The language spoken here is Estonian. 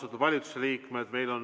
Austatud valitsusliikmed!